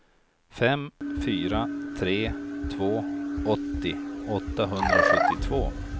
fem fyra tre två åttio åttahundrasjuttiotvå